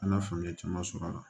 An ka faamuyali caman sɔrɔ a la